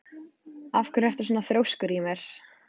Af hverju ertu svona þrjóskur, Ymir?